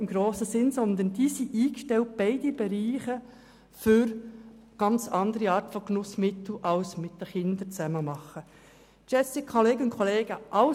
Die beiden Bereiche sind eingestellt für eine ganz andere Art von Genussmitteln, von denen Kinder nicht betroffen sind.